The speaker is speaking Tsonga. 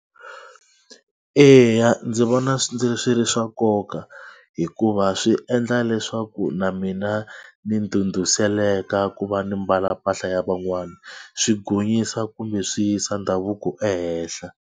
Eya ndzi vona swi ri swa nkoka hikuva swi endla leswaku na mina ni ndhudhuzeleka ku va ni mbala mpahla ya van'wana swi gonyisa kumbe swi yisa ndhavuko ehenhla.